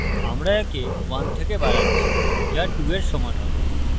আমরা একে 1 থেকে বাড়াচ্ছি যা 2 we সমান হবে